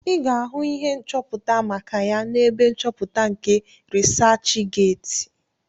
Ị ga-ahụ ihe nchọpụta maka ya n'ebe nchọpụta nke rịsachgeeti